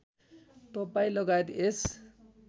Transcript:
तपाईँ लगायत यस